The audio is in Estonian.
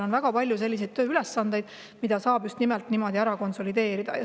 On väga palju tööülesandeid, mida saab just nimelt niimoodi konsolideerida.